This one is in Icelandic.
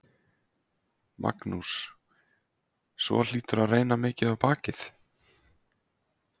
Magnús: Svo hlýtur að reyna mikið á bakið?